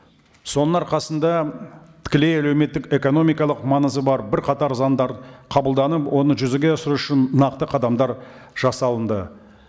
соның арқасында тікелей әлеуметтік экономикалық маңызы бар бірқатар заңдар қабылданып оны жүзеге асыру үшін нақты қадамдар жасалынды